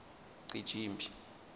cijimphi